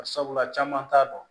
Bari sabula caman t'a dɔn